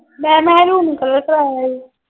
ਮੈਂ ਮੈਂ maroon color ਕਰਾਇਆ ਈ।